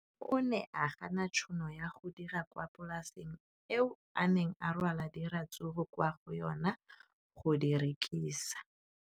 O ne a gana tšhono ya go dira kwa polaseng eo a neng rwala diratsuru kwa go yona go di rekisa.